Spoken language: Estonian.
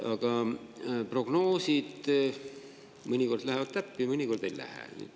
Aga prognoosid mõnikord lähevad täppi, mõnikord ei lähe.